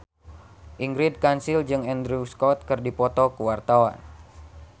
Ingrid Kansil jeung Andrew Scott keur dipoto ku wartawan